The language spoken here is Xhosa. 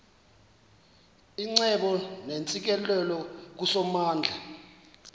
icebo neentsikelelo kusomandla